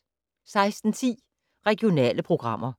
16:10: Regionale programmer